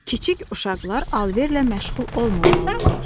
Kiçik uşaqlar alverlə məşğul olmamalıdırlar.